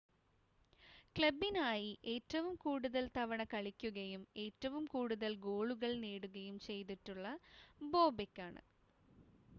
ക്ലബ്ബിനായി ഏറ്റവും കൂടുതൽ തവണ കളിക്കുകയും ഏറ്റവും കൂടുതൽ ഗോളുകൾ നേടുകയും ചെയ്തിട്ടുള്ളത് ബോബെക്കാണ്